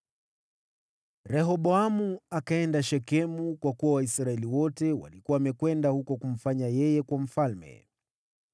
Rehoboamu akaenda Shekemu, kwa kuwa Waisraeli wote walikuwa wamekwenda huko kumfanya yeye kuwa mfalme.